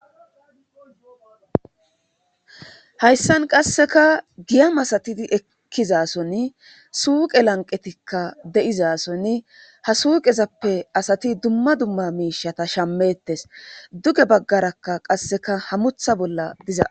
hayssan qasseka giyam asati ekkizason suuqe lanqetikka de7izasoni ha suuqezappe asati dumma dumma miishata shammettes duge baggarakka qasseka hamutha bolla dizaa